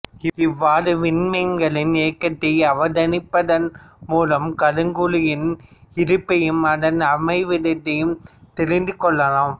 இவ்வாறான விண்மீன்களின் இயக்கத்தை அவதானிப்பதன் மூலம் கருங்குழியின் இருப்பையும் அதன் அமைவிடத்தையும் தெரிந்து கொள்ளலாம்